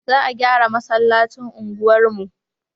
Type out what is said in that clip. Za a gyara masallacin unguwar mu